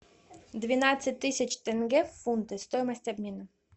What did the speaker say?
двенадцать тысяч тенге в фунты стоимость обмена